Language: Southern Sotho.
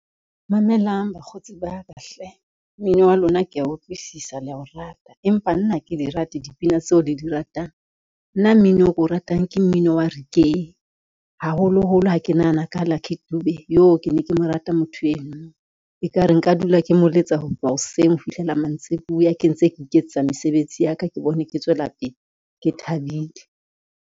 Mamelang bakgotsi ba ka hle, mmino wa lona kea utlwisisa le a o rata, empa nna ha ke di rate dipina tseo le di ratang. Nna mmino o ko ratang ke mmino wa reggae, haholoholo ha ke nahana ka ho Lucky Dube, yoh ke ne ke mo rata motho eno. Ekare nka dula ke mo letsa ho tloha hoseng ho fihlela mantsibuya ke ntse ke iketsetsa mesebetsi ya ka, ke bone ke tswela pele ke thabile.